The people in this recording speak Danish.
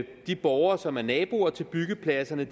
de borgere som er naboer til byggepladserne